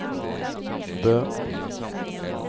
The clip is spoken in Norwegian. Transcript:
Bø